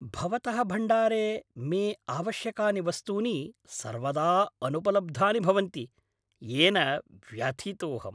भवतः भण्डारे मे आवश्यकानि वस्तूनि सर्वदा अनुपलब्धानि भवन्ति, येन व्यथितोऽहम्।